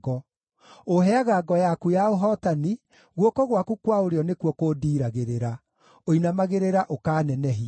Ũũheaga ngo yaku ya ũhootani, guoko gwaku kwa ũrĩo nĩkuo kũndiiragĩrĩra; ũinamagĩrĩra ũkaanenehia.